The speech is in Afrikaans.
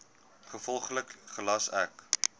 gevolglik gelas ek